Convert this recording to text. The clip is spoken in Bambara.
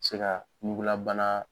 Se ka ɲugulabana